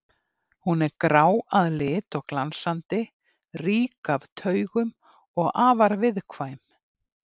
Hún er grá að lit og glansandi, rík af taugum og afar viðkvæm.